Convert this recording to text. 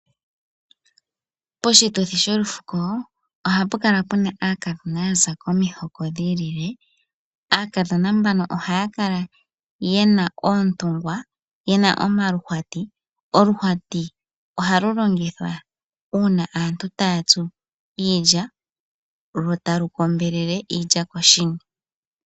Poshituthi sholufuko ohapu kala puna aakadhona yaza komiho dhiilile. Aakadhona mbano ohaya kala yena oontungwa ,yena omaluhwati. Oluhwati ohalu longithwa uuna taya tsu iilya lo talu kombelele iilya koshini.